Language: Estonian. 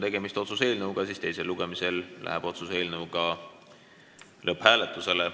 Tegemist on otsuse eelnõuga ja teisel lugemisel läheb otsuse eelnõu lõpphääletusele.